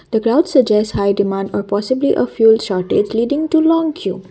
the crowd suggest high demand a possibly a fuel shortage leading to long queue.